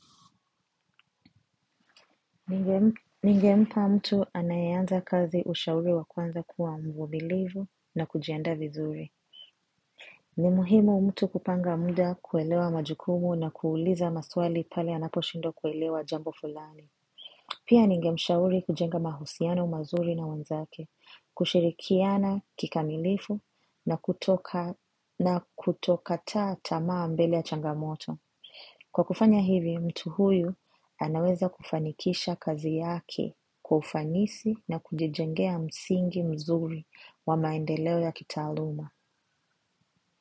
Ningempa mtu anayeanza kazi ushauri wakuanza kuwa mvumilivu na kujiandaa vizuri. Ni muhimu mtu kupanga muda kuelewa majukumu na kuuliza maswali pale anaposhindwa kuelewa jambo fulani. Pia ninge mshauri kujenga mahusiano mazuri na wanzake, kushirikiana kikamilifu na kutokataa tamaa mbele ya changamoto. Kwa kufanya hivi, mtu huyu anaweza kufanikisha kazi yake kwa ufanisi na kujijengea msingi mzuri wa maendeleo ya kitaaluma.